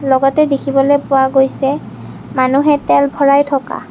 লগতে দেখিবলৈ পোৱা গৈছে মানুহে তেল ভৰাই থকা।